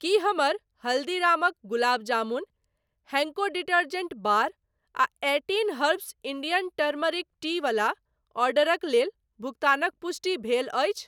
की हमर हल्दीरामक gulab jamun, Henko detergent bar आ eighteen herbs Indian turmeric tea वला ऑर्डरक लेल भुगतानक पुष्टि भेल अछि?